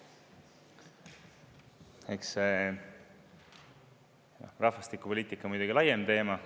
Eks see rahvastikupoliitika on muidugi laiem teema.